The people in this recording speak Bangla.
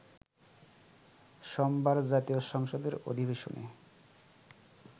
সোমবার জাতীয় সংসদের অধিবেশনে